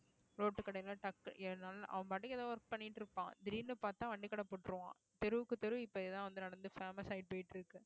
road கடையில டக்குனு அவன் பாட்டுக்கு ஏதோ work பண்ணிட்டு இருப்பான் திடீர்னு பாத்தா வண்டி கடை போட்டுருவான் தெருவுக்கு தெரு இப்ப இதுதான் வந்து நடந்து famous ஆயிட்டு போயிட்டு இருக்கு